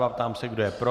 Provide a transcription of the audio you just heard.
Ptám se, kdo je pro.